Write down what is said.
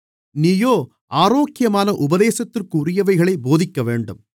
நீயோ ஆரோக்கியமான உபதேசத்திற்குரியவைகளைப் போதிக்கவேண்டும்